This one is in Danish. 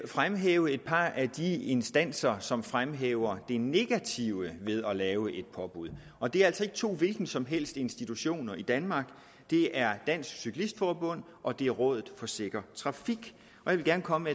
fremhæve et par af de instanser som fremhæver det negative ved at lave et påbud og det er altså ikke to hvilke som helst institutioner i danmark det er dansk cyklist forbund og det er rådet for sikker trafik jeg vil gerne komme